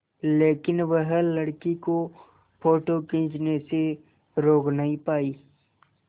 लेकिन वह लड़की को फ़ोटो खींचने से रोक नहीं पाई